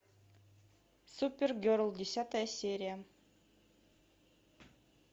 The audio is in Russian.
супер герл десятая серия